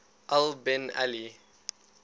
al bin ali